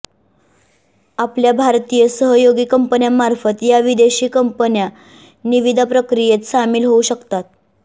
आपल्या भारतीय सहयोगी कंपन्यामार्फत या विदेशी कंपन्या निविदा प्रक्रियेत सामील होऊ शकतात